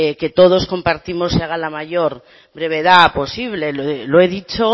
que todos compartirnos se haga a la mayor brevedad posible lo he dicho